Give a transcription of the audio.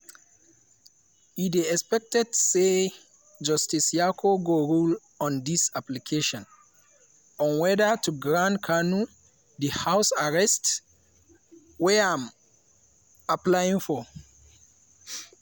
e dey expected say justice nyako go rule on di application on whether to grant kanu di house arrest wey im apply for.